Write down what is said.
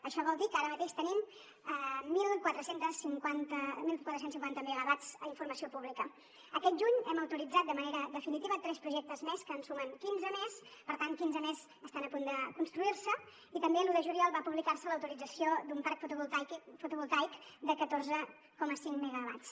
això vol dir que ara mateix tenim catorze cinquanta megawatts a informació pública aquest juny hem autoritzat de manera definitiva tres projectes més que en sumen quinze més per tant quinze més estan a punt de construir se i també l’un de juliol va publicar se l’autorització d’un parc fotovoltaic de catorze coma cinc megawatts